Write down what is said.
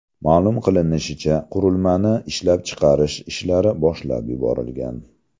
Ma’lum qilinishicha, qurilmani ishlab chiqarish ishlari boshlab yuborilgan.